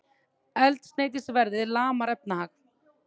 Eldsneytisverðið lamar efnahag